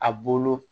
A bolo